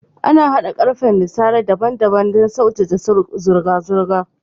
An hada karfen nasara daban daban don saujaka zurga zurga